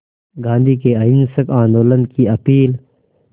गांधी के अहिंसक आंदोलन की अपील